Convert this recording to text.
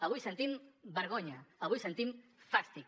avui sentim vergonya avui sentim fàstic